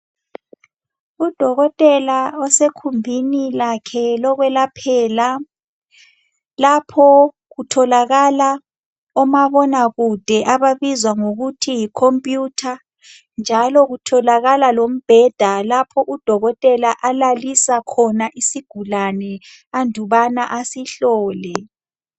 Udokotela osekhumbini lakhe lokwelaphela. Lapho kutholakala omabona kude ababizwa ngokuthi yi computer njalo kutholakala lombheda lapho udokotela alalisa khona isigulane andubana asihlole.